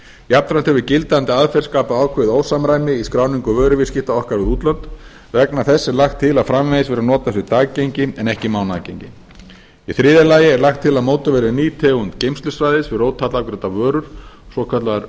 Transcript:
jafnframt hefur gildandi aðgerð skapað ákveðið ósamræmi á skráningu vöruviðskipta okkar við útlönd vegna þess er lagt til að framvegis verði notað sem daggengi en ekki mánaðargengi í þriðja lagi er lagt til að mótuð verði ný tegund geymslusvæðis fyrir ótollafgreiddar vörur svokallaðar